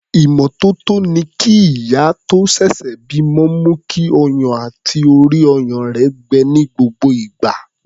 Ìmọ́tótó ni kí ìyá tó ṣẹ̀ṣẹ̀ bímọ mú kí ọyàn àti orí-ọyàn gbẹ ní gbogbo ìgbà.